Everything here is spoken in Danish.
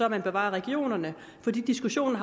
man bevarer regionerne diskussionen